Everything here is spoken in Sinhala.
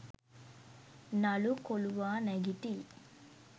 නළු කොලුවා නැගිටියි